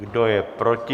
Kdo je proti?